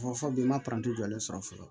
Fɔ bi i ma jɔlen sɔrɔ fɔlɔ